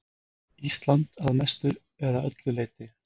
Ísland að mestu eða öllu leyti.